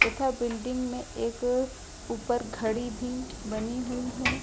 तथा बिल्डिंग में एक ऊपर एक घड़ी भी बनी हुई है।